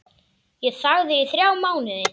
Ég þagði í þrjá mánuði.